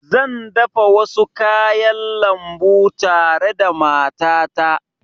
Zan dafa wasu kayan lambu tare da matata